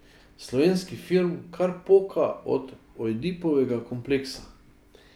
Slovenski film kar poka od Ojdipovega kompleksa.